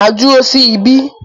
Màá dúró sí ibí.